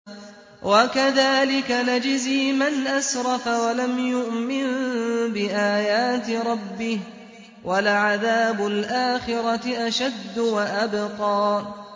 وَكَذَٰلِكَ نَجْزِي مَنْ أَسْرَفَ وَلَمْ يُؤْمِن بِآيَاتِ رَبِّهِ ۚ وَلَعَذَابُ الْآخِرَةِ أَشَدُّ وَأَبْقَىٰ